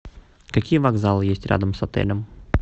какие вокзалы есть рядом с отелем